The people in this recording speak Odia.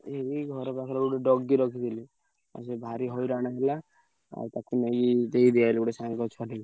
ଏଇ ଏଇ ଘର ପାଖରେ ଗୋଟେ doggy ରଖିଥିଲି। ଆଉ ସିଏ ଭାରି ହଇରାଣ ହେଲା। ଆଉ ତାକୁ ନେଇ ଦେଇଦେଇ ଆଇଲି ଗୋଟେ ସାଙ୍ଗ ଛୁଆଟାକୁ।